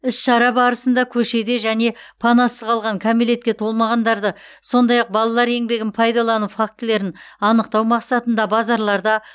іс шара барысында көшеде және панасыз қалған кәмелетке толмағандарды сондай ақ балалар еңбегін пайдалану фактілерін анықтау мақсатында базарларда